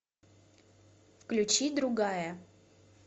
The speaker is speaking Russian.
включи другая